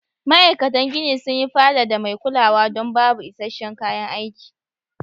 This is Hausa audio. Ma aikatan gini sun yi fada da mai kulawa don babu isa'shen kayan aiki.